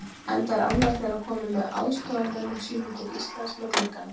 Enda er annar þeirra kominn með aðstoðarmönnum sínum til Íslands með gluggana